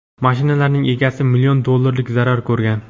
mashinalarning egasi million dollarlik zarar ko‘rgan.